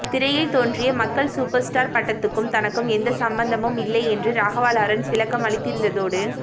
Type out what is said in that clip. திரையில் தோன்றிய மக்கள் சூப்பர் ஸ்டார் பட்டத்துக்கும் தனக்கும் எந்த சம்பந்தமும் இல்லை என்று ராகவா லோரன்ஸ் விளக்கம் அளித்திருந்ததோடு